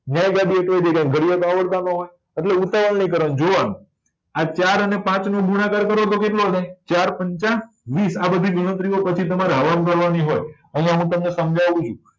ઘડિયા તો આવડતા નાં હોય એટલે ઉતાવળ નહી કરવા ની જોવા નું આ ચાર અને પાંચ નો ગુણાકાર કરો તો કેટલો થાય ચાર પંચા વીસ આ બધી ગણતરીઓ પછી તમારે હવા માં કરવા ની હોય અહિયાં હું તમને સમજાવું છુ